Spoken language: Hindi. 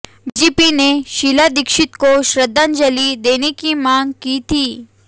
बीजेपी ने शीला दीक्षित को श्रद्धांजलि देने की मांग की थी